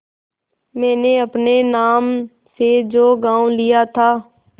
मैंने अपने नाम से जो गॉँव लिया था